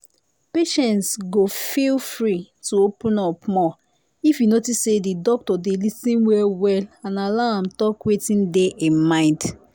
patients go feel free to open up more if e notice say the doctor dey lis ten well well and allow am talk wetin dey him mind